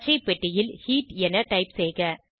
பச்சைப்பெட்டியில் heat என type செய்க